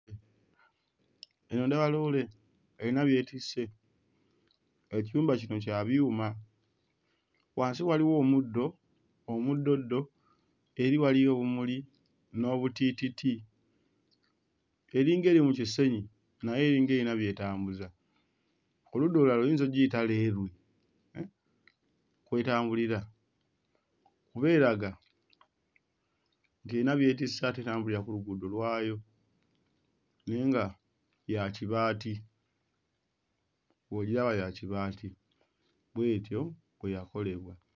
Eno ndaba loole erina by'etisse. Ekiyumba kino kya byuma, wansi waliwo omuddo, omuddoddo, eri waliyo obumuli n'obutiititi, eringa eri mu kisenyi naye eringa eyina by'etambuza. Ku ludda olulala oyinza oggiyita leerwe mm kw'etambulira kuba eraga nti eyina by'etisse ate etambulira ku luguudo lwayo naye nga ya kibaati, bw'ogiraba ya kibaati; bw'etyo bwe yakolebwa.